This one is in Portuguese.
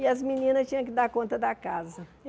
E as meninas tinham que dar conta da casa.